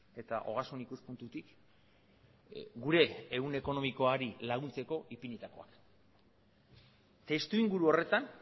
eta ogasun ikuspuntutik gure ehun ekonomikoari laguntzeko ipinitakoa testu inguru horretan